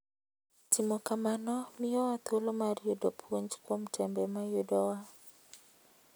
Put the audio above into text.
Timo kamano miyowa thuolo mar yudo puonj kuom tembe ma yudowa.